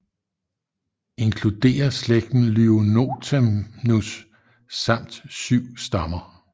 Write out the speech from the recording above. Inkluderer slægten Lyonothamnus samt syv stammer